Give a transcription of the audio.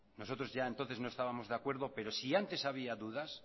nosotros ya entonces no estábamos de acuerdo pero si antes había dudas